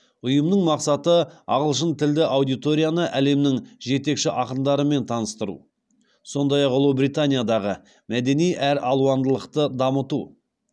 ұйымның мақсаты ағылшын тілді аудиторияны әлемнің жетекші ақындарымен таныстыру сондай ақ ұлыбританиядағы мәдени әралуандылықты дамыту